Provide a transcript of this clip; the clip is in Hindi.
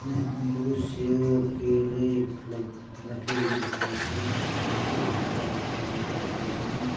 हमे अमरुद सेव केले लग रखे हुए दिखाई दे रहे हैं जो बहुत ताजे ताजे फल फुलाई हैं।